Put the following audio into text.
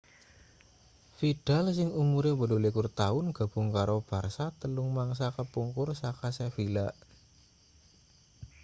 vidal sing umure 28 taun gabung karo barça telung mangsa kapungkur saka sevilla